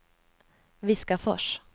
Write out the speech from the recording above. Viskafors